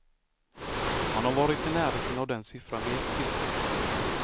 Man har varit i närheten av den siffran vid ett tillfälle.